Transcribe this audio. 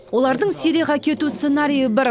олардың сирияға кету сценариі бір